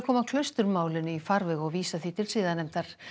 koma í farveg og vísa því til siðanefndar